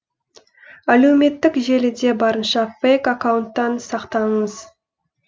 әлеуметтік желіде барынша фейк аккаунттан сақтаныңыз